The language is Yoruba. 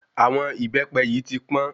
Àwọn ìbẹ́pẹ yìí tí pọ́n